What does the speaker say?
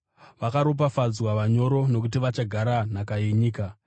Vakaropafadzwa vanyoro nokuti vachagara nhaka yenyika.